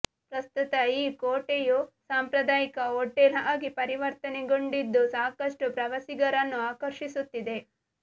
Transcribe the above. ಪ್ರಸ್ತುತ ಈ ಕೋಟೆಯು ಸಾಂಪ್ರದಾಯಿಕ ಹೋಟೆಲ್ ಆಗಿ ಪರಿವರ್ತನೆಗೊಂಡಿದ್ದು ಸಾಕಷ್ಟು ಪ್ರವಾಸಿಗರನ್ನು ಆಕರ್ಷಿಸುತ್ತಿದೆ